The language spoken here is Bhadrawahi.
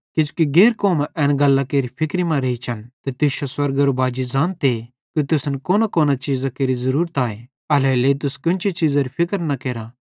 किजोकि गैर कौमां एन गल्लां केरि फिक्री मां रेइचन ते तुश्शो स्वर्गेरो बाजी ज़ानते कि तुसन कोनांकोनां चीज़ां केरि ज़रूरत आए एल्हेरेलेइ तुस कोन्ची चीज़री फिक्र न केरा